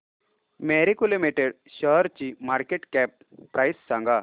Marico limited शेअरची market cap price सांगा